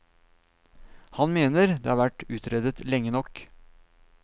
Han mener det har vært utredet lenge nok.